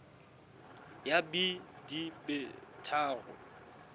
ya b di be tharo